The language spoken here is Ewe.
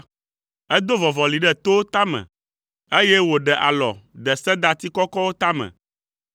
Edo vɔvɔli ɖe towo tame eye wòɖe alɔ de sedati kɔkɔwo tame.